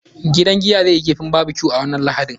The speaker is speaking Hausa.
Gidan giya zai yi kifin barbecue a wannan Lahadin.